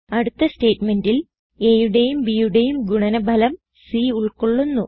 അടുത്ത സ്റ്റേറ്റ്മെന്റിൽ aയുടെയും bയുടെയും ഗുണന ഫലം c ഉൾകൊള്ളുന്നു